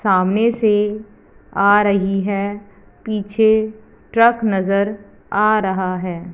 सामने से आ रही है पीछे ट्रक नजर आ रहा है।